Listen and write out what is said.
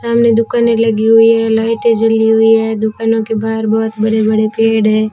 सामने दुकानें लगी हुई है लाइटे जली हुई है दुकानों के बाहर बहोत बड़े बड़े पेड़ है।